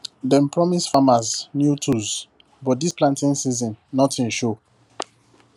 dem promise farmers new tools but this planting season nothing show